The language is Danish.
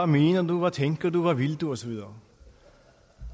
mener du hvad tænker du hvad vil du og så videre